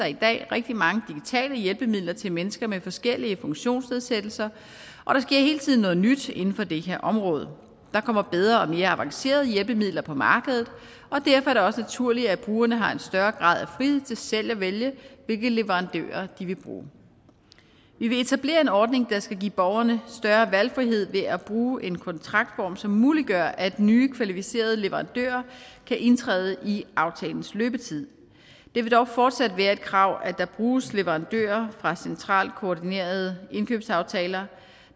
i dag rigtig mange digitale hjælpemidler til mennesker med forskellige funktionsnedsættelser og der sker hele tiden noget nyt inden for det her område der kommer bedre og mere avancerede hjælpemidler på markedet og derfor er det også naturligt at brugerne har en større grad af frihed til selv at vælge hvilke leverandører de vil bruge vi vil etablere en ordning der skal give borgerne større valgfrihed ved at bruge en kontraktform som muliggør at nye kvalificerede leverandører kan indtræde i aftalens løbetid det vil dog fortsat være et krav at der bruges leverandører fra centralt koordinerede indkøbsaftaler